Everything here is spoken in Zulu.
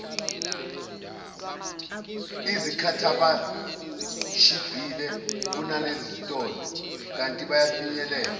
izikhathibashibhile kunasezitolo kantibafinyeleleka